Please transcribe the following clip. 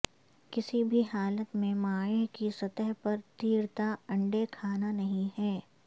کسی بھی حالت میں مائع کی سطح پر تیرتا انڈے کھانا نہیں ہے